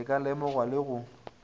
e ka lemogwa le go